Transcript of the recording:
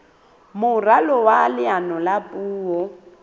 moralo wa leano la puo